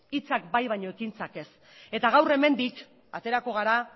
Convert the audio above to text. hitzak bai baina ekintzak ez eta gaur hemendik aterako gara